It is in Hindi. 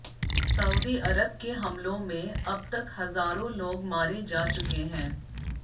सऊदी अरब के हमलों में अब तक हज़ारों लोग मारे जा चुके हैं